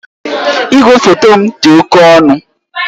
Igwefoto m dị oke ọnụ